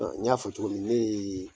n y'a fɔ cogo min ne